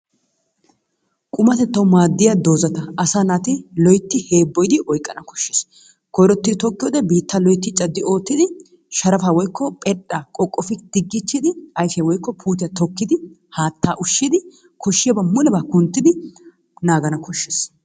Qummatettawu maadiya doozata asaa naati loytti heebbooyidi oyqqana koshshees. Koyrottidi tokkiyode biittaa loytti caddi oottidi sharappaa woykko phedhdha qoqqoppi diggichchidi ayfiya woykko puutiya tokkidi haattaa ushshidi koshiyabaa mulebaa kunttidi naagana koshshees.